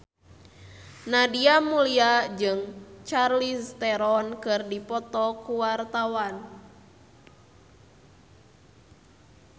Nadia Mulya jeung Charlize Theron keur dipoto ku wartawan